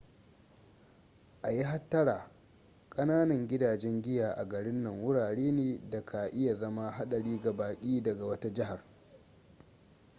a yi hattara kananan gidajen giya a garin nan wurare ne da ka iya zama hadari ga baki daga wata jihar